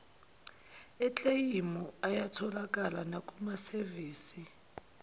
ekleyimu ayatholakala nakumasevisi